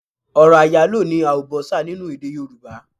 Ọ̀rọ̀ àyálò ni àùbọ́sà nínú èdè yorùbá.